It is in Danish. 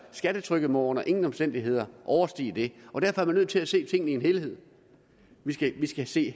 skattetrykket må under ingen omstændigheder overstige det og derfor er man nødt til at se tingene i en helhed vi skal skal se